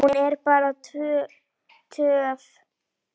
Hún er bara töff.